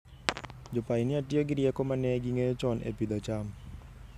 Jopainia tiyo gi rieko ma ne ging'eyo chon e pidho cham.